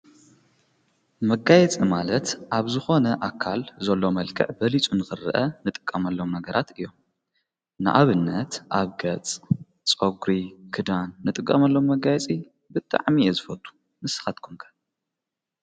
መጋየጽ ማለት ኣብዝኾነ ኣካል ዘሎ መልክዕ በሊጹ ንኽርአ ንጥቃመሎም መገራት እዮም ንኣብነት ኣብ ገጽ ጾጕሪ ክዳን ንጥቀመሎም መጋይጺ ብጥዕሚእየ ዝፈቱ ንስኻትኩምከር።